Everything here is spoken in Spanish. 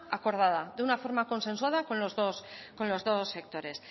acordada de una forma consensuada con los dos sectores